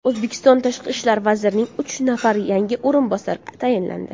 O‘zbekiston Tashqi ishlar vazirining uch nafar yangi o‘rinbosari tayinlandi.